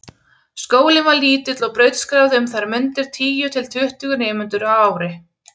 Skólinn var lítill og brautskráði um þær mundir tíu til tuttugu nemendur á ári.